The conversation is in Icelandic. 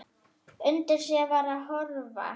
Undi sér við að horfa.